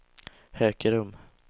Hökerum